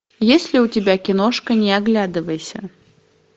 есть ли у тебя киношка не оглядывайся